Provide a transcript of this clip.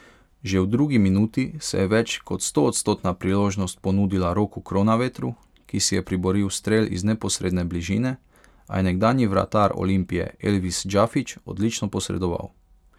Že v drugi minuti se je več kot stoodstotna priložnost ponudila Roku Kronavetru, ki si je priboril strel iz neposredne bližine, a je nekdanji vratar Olimpije Elvis Džafić odlično posredoval.